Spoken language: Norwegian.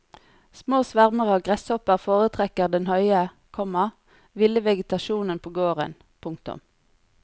Små svermer av gresshopper foretrekker den høye, komma ville vegetasjonen på gården. punktum